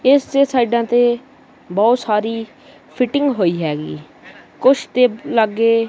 ਇਸ ਦੀ ਸਾਈਡਾਂ ਤੇ ਬਹੁਤ ਸਾਰੀ ਫਿਟਿੰਗ ਹੋਈ ਹੈਗੀ ਕੁਛ ਤੇ ਲਾਗੇ--